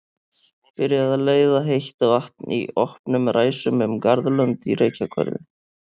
Byrjað að leiða heitt vatn í opnum ræsum um garðlönd í Reykjahverfi.